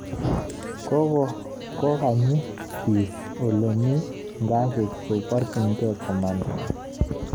Kokakonyi biik ole mi ngasit, ko barchingei komanda